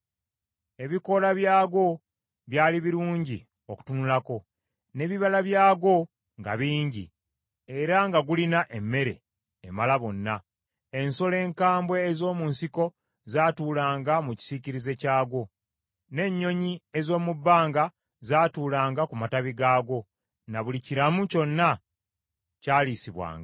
Ebikoola byagwo byali birungi okutunulako, n’ebibala byagwo nga bingi, era nga gulina emmere emala bonna. Ensolo enkambwe ez’omu nsiko zaatuulanga mu kisiikirize kyagwo, n’ennyonyi ez’omu bbanga zaatuulanga ku matabi gaagwo, na buli kiramu kyonna kyalisibwanga.